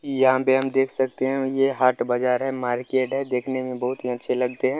यहाँ पे हम देख सकते हैं ये हाट बाजार है मार्केट है देखने में बहुत ही अच्छे लगते हैं।